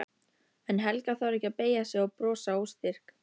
En Helga þarf ekki að beygja sig og brosa óstyrk.